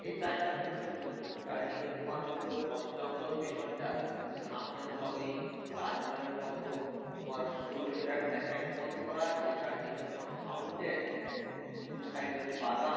এই church টা খুব সুন্দর চারিদিকে তোমার পুরো বনজঙ্গল পেছনটা সামনে তোমার ঐ তাজমহলের মত তোমার সরু করে একটা canal মত করা আছে চারিদিকে তোমার fountain দু সাইডে বাগান